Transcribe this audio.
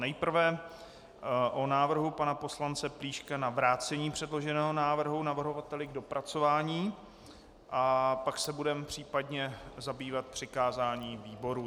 Nejprve o návrhu pana poslance Plíška na vrácení předloženého návrhu navrhovateli k dopracování a pak se budeme případně zabývat přikázáním výborům.